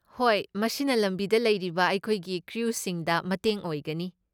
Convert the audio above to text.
ꯍꯣꯏ, ꯃꯁꯤꯅ ꯂꯝꯕꯤꯗ ꯂꯩꯔꯤꯕ ꯑꯩꯈꯣꯏꯒꯤ ꯀ꯭ꯔꯨꯁꯤꯡꯗ ꯃꯇꯦꯡ ꯑꯣꯏꯒꯅꯤ꯫